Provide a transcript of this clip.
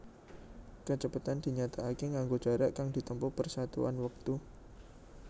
Kacepetan dinyatakaké nganggo jarak kang ditempuh per satuan wektu